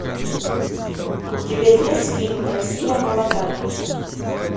у тебя есть фильм россия молодая